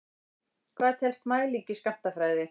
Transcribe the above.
Hvað telst mæling í skammtafræði?